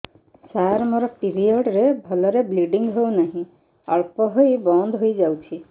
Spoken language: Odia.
ସାର ମୋର ପିରିଅଡ଼ ରେ ଭଲରେ ବ୍ଲିଡ଼ିଙ୍ଗ ହଉନାହିଁ ଅଳ୍ପ ହୋଇ ବନ୍ଦ ହୋଇଯାଉଛି